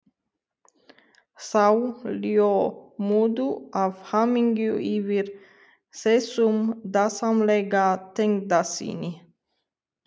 Þau ljómuðu af hamingju yfir þessum dásamlega tengdasyni.